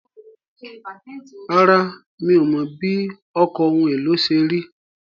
Rárá, mi ò mọ̀ bí ọkọ̀ ohun èlò ṣe rí.